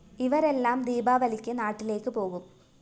ഇവരെല്ലാം ദീപാവലിക്ക് നാട്ടിലേക്ക് പോകും